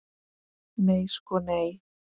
Nei sko nei.